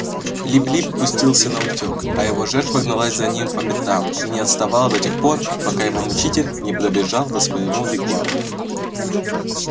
лип лип пустился наутёк а его жертва гналась за ним по пятам и не отставала до тех пор пока его мучитель не пробежал до своего вигвама